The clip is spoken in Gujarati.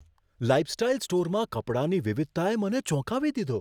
લાઈફસ્ટાઈલ સ્ટોરમાં કપડાંની વિવિધતાએ મને ચોંકાવી દીધો.